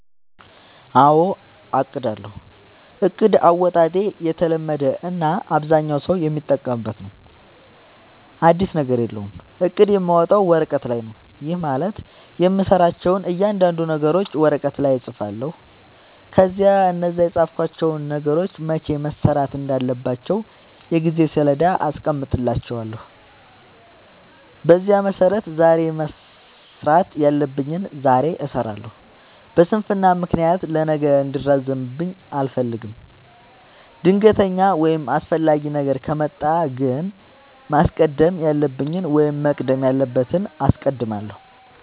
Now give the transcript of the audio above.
አዎ አቅዳለሁ። እቅድ አወጣጤ የተለመደ እና አብዛኛው ሠው የሚጠቀምበት ነው። አዲስ ነገር የለውም። እቅድ የማወጣው ወረቀት ላይ ነው። ይህም ማለት የምሠራቸውን እያንዳንዱን ነገሮች ወረቀት ላይ እፅፋለሁ። ከዚያ እነዛን የፃፍኳቸውን ነገሮች መቼ መሠራት እንዳለባቸው የጊዜ ሠሌዳ አስቀምጥላቸዋለሁ። በዚያ መሠረት ዛሬ መስራት ያለብኝን ዛሬ እሠራለሁ። በስንፍና ምክንያት ለነገ እንዲራዘምብኝ አልፈልግም። ድንገተኛ ወይም አስፈላጊ ነገር ከመጣ ግን ማስቀደም ያለብኝን ወይም መቅደም ያለበትን አስቀድማለሁ።